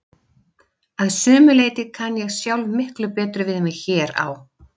Að sumu leyti kann ég sjálf miklu betur við mig hér á